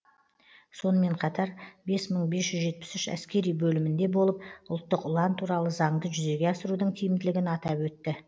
сонымен қатар бес мың бес жүз жетпіс үш әскери бөлімінде болып ұлттық ұлан туралы заңды жүзеге асырудың тиімділігін атап өтті